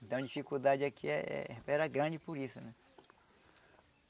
Então a dificuldade aqui eh eh era grande por isso, né?